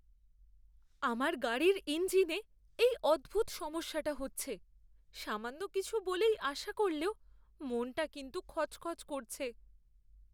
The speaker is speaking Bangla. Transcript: আমার গাড়ির ইঞ্জিনে এই অদ্ভুত সমস্যাটা হচ্ছে। সামান্য কিছু বলেই আশা করলেও মনটা কিন্তু খচখচ করছে।